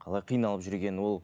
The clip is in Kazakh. қалай қналып жүргенін ол